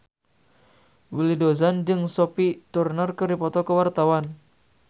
Willy Dozan jeung Sophie Turner keur dipoto ku wartawan